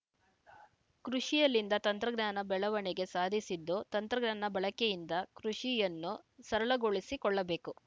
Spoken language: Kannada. ಕೃಷಿಯಲ್ಲಿಂದು ತಂತ್ರ ಜ್ಞಾನ ಬೆಳವಣಿಗೆ ಸಾಧಿಸಿದ್ದು ತಂತ್ರ ಜ್ಞಾನ ಬಳಕೆಯಿಂದ ಕೃಷಿಯನ್ನು ಸರಳಗೊಳಿಸಿ ಕೊಳ್ಳಬೇಕು